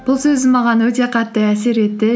бұл сөзі маған өте қатты әсер етті